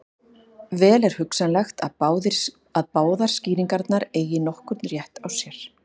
Vel er hugsanlegt að báðar skýringarnar eigi nokkurn rétt á sér.